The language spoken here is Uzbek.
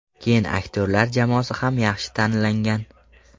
Keyin aktyorlar jamoasi ham yaxshi tanlangan.